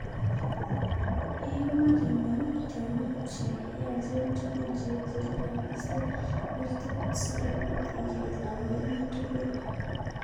Iyum ak ing'em tyong'ig che yaacheen tugul che eecheen, ak iisto bertet, si kobiit iger lavainik tugul.